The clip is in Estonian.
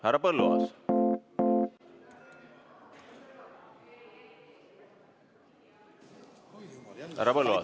Härra Põlluaas!